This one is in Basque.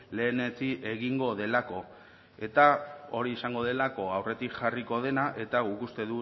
lehenetsi egingo delako eta hori izango delako aurretik jarriko dena eta guk uste